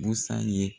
Busan ye